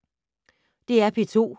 DR P2